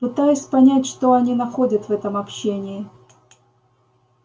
пытаюсь понять что они находят в этом общении